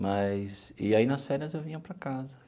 Mas... e aí, nas férias, eu vinha para casa.